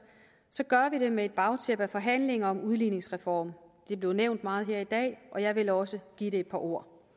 gør vi det med et bagtæppe af forhandlinger om udligningsreform det blev nævnt meget her i dag og jeg vil også give det et par ord